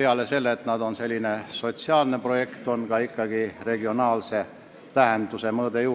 peale sotsiaalse projekti tähenduse ikkagi ka regionaalne mõõde.